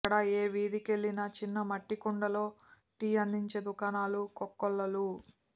అక్కడ ఏ వీధికెళ్లినా చిన్న మట్టికుండల్లో టీ అందించే దుకాణాలు కోకొల్లలు